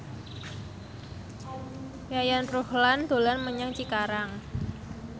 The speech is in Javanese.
Yayan Ruhlan dolan menyang Cikarang